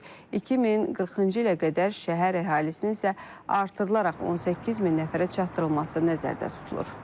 2040-cı ilə qədər şəhər əhalisinin isə artırılaraq 18 min nəfərə çatdırılması nəzərdə tutulur.